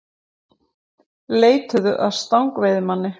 Leituðu að stangveiðimanni